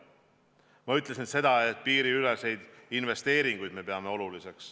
Ma ütlesin seda, et me peame oluliseks piiriüleseid investeeringuid.